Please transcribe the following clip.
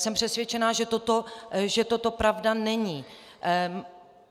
Jsem přesvědčena, že toto pravda není.